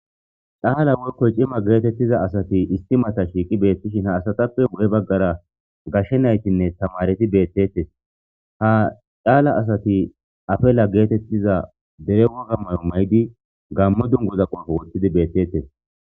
Caala workoy cima geetettiza asati istimata shiiqi beettishin ha asatappe bu'e baggara gashshe naytinne tamareti beettettes ha caala asati afela geetettiza dere wagammayo may'di gammo dunguda qoofo woththidi beettettes.